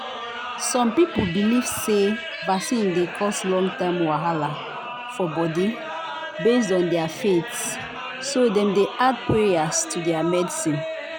some people believe say vaccine dey cause long-term wahala for body based on their faith so dem dey add prayers to their medicine